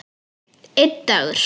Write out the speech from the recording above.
Einn dagur!